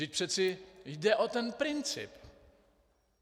Vždyť přeci jde o ten princip.